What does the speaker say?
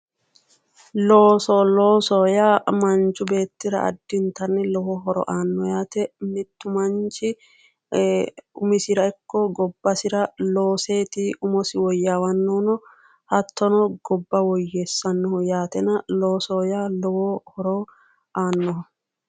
Looso loosoho yaa manchi beettira addintanni lowo horo aanno yaate mittu manchi umisira ikko gobbasira looseeti umosi woyyaawannohuno hattono gobba woyyeessannohu yaatena loosoho yaa lowo horo aannoho